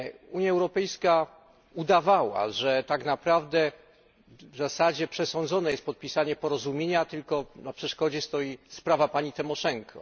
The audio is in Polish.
Unia Europejska udawała, że tak naprawdę w zasadzie przesądzone jest podpisanie porozumienia, tylko na przeszkodzie stoi sprawa pani Tymoszenko.